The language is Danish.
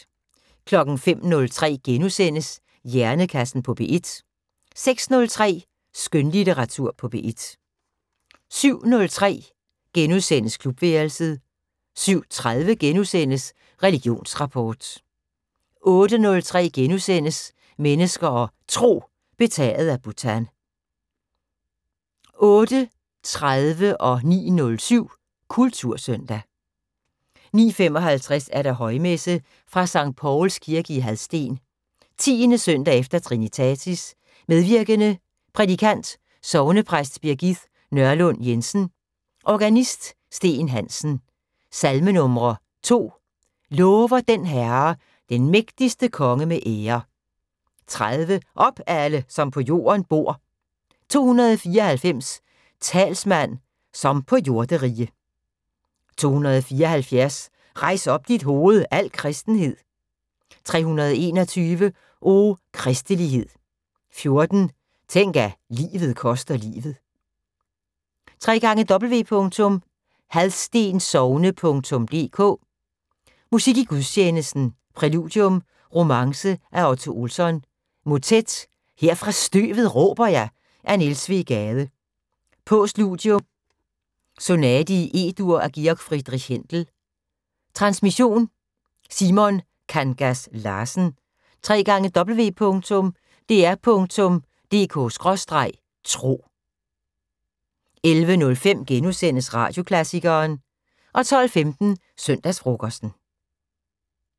05:03: Hjernekassen på P1 * 06:03: Skønlitteratur på P1 07:03: Klubværelset * 07:30: Religionsrapport * 08:03: Mennesker og Tro: Betaget af Bhutan * 08:30: Kultursøndag 09:07: Kultursøndag 09:55: Højmesse - fra Sct. Pauls kirke i Hadsten. 10. søndag efter trinitatis. Medvirkende: Prædikant: Sognepræst Birgith Nørlund Jensen. Organist: Steen Hansen. Salmenumre: 2: "Lover den Herre, den mægtige konge med ære". 30: "Op, alle, som på jorden bor". 294: "Talsmand, som på jorderige". 274: "Rejs op dit hoved, al kristenhed". 321: "O, kristelighed" . 14: "Tænk, at livet koster livet". www.hadstensogne.dk Musik i gudstjenesten: Præludium: "Romance" af Otto Olsson. Motet: "Her fra støvet råber jeg" af Niels W. Gade. Postludium: " Sonate E-dur" af G. F. Händel Transmission: Simon Kangas Larsen. www.dr.dk/tro 11:05: Radioklassikeren * 12:15: Søndagsfrokosten